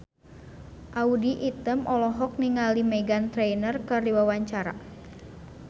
Audy Item olohok ningali Meghan Trainor keur diwawancara